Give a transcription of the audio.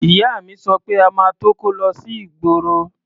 Ìyá mi sọ pé a máa tó kó lọ sí ìgboro.